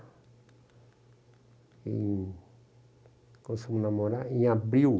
Em.. Começamos a namorar em abril.